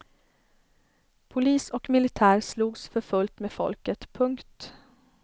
Polis och militär slogs för fullt med folket. punkt